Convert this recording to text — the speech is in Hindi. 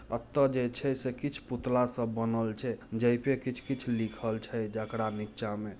अत्ता जैसे-जैसे कुछ पुतला सब बनल छै जय पे कुछ-कुछ लिखल छै जकड़ा नीचा में--